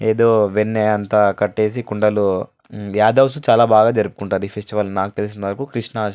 ఏదో వెన్ను అంత కట్టేసి కుండలు యాదవ్ చాలా బాగా జరుపుకుంటారు ఈ ఫెస్టివల్ నాకు తెలిసిన అంతా వరకు కృష్ణ --